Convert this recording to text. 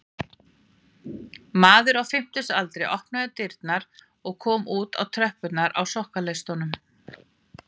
Maður á fimmtugsaldri opnaði dyrnar og kom út á tröppurnar á sokkaleistunum